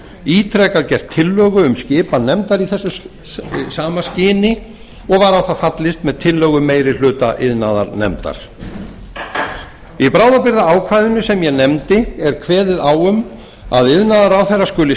ítrekað gert tillögu um skipan nefndar í þessu sama skyni og var á það fallist með tillögu meiri hluta iðnaðarnefndar í bráðabirgðaákvæðinu sem ég nefndi er kveðið á um að iðnaðarráðherra skuli